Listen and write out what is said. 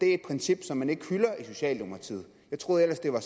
er et princip som man ikke hylder i socialdemokratiet jeg troede ellers det var